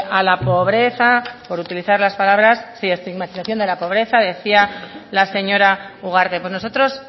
a la pobreza por utilizar las palabras sí estigmatización de la pobreza decía la señora ugarte pues nosotros